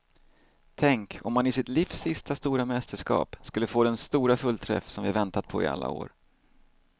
Tänk om han i sitt livs sista stora mästerskap skulle få den stora fullträff som vi väntat på i alla år.